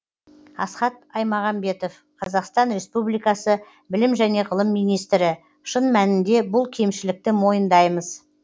асхат аймағамбетов қазақстан республикасы білім және ғылым министрі шын мәнінде бұл кемшілікті мойындаймыз